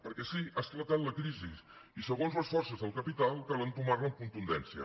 perquè sí ha esclatat la crisi i segons les forces del capital cal entomar la amb contundència